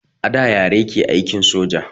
A da yare ke aikin soja